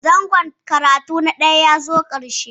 Zangon karatu na ɗaya ya zo ƙarshe